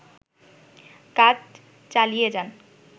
কাজ চালিয়েযান